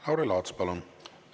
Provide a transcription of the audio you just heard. Lauri Laats, palun!